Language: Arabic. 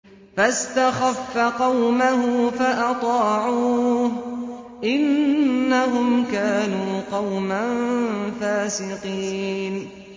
فَاسْتَخَفَّ قَوْمَهُ فَأَطَاعُوهُ ۚ إِنَّهُمْ كَانُوا قَوْمًا فَاسِقِينَ